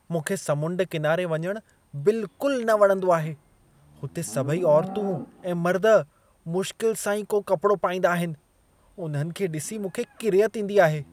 मूंखे समुंड किनारे वञणु बिलकुलु न वणंदो आहे। हुते सभई औरतूं ऐं मर्द मुश्किल सां ई को कपड़ो पाईंदा आहिनि। उन्हनि खे ॾिसी मूंखे किरियत ईंदी आहे।